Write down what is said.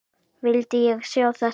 Vildi ég sjá þetta?